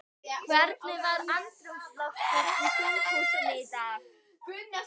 Hvernig var andrúmsloftið í þinghúsinu í dag?